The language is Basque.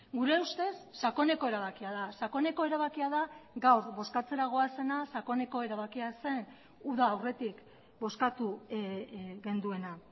gure ustez sakoneko erabakia da sakoneko erabakia da gaur bozkatzera goazena sakoneko erabakia zen uda aurretik bozkatu genuena